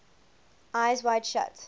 eyes wide shut